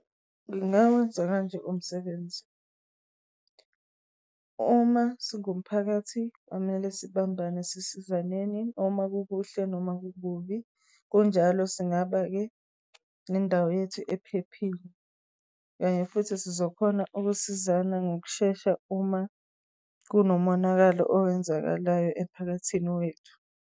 Ngingawenza kanje umsebenzi, uma singumphakathi kwamele sibambane sisizaneni uma kukuhle noma kukubi. Kunjalo singaba-ke nendawo yethu ephephile, kanye futhi sizokhona ukusizana ngokushesha uma kunomonakalo owenzakalayo emphakathini wethu.